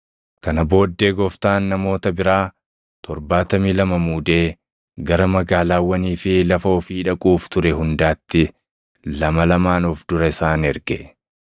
Kana booddee Gooftaan namoota biraa 72 muudee gara magaalaawwanii fi lafa ofii dhaquuf ture hundaatti lama lamaan of dura isaan erge.